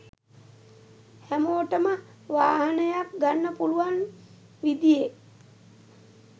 හැමෝටම වාහනයක් ගන්න පුළුවන් විදියෙ